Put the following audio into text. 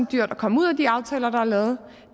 dyrt at komme ud af de aftaler der er lavet